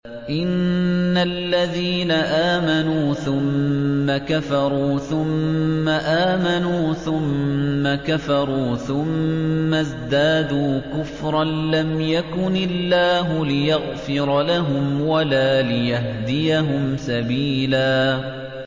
إِنَّ الَّذِينَ آمَنُوا ثُمَّ كَفَرُوا ثُمَّ آمَنُوا ثُمَّ كَفَرُوا ثُمَّ ازْدَادُوا كُفْرًا لَّمْ يَكُنِ اللَّهُ لِيَغْفِرَ لَهُمْ وَلَا لِيَهْدِيَهُمْ سَبِيلًا